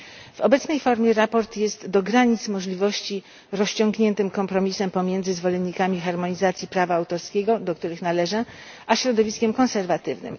W obecnej formie raport jest do granic możliwości rozciągniętym kompromisem pomiędzy zwolennikami harmonizacji prawa autorskiego, do których należę, a środowiskiem konserwatywnym.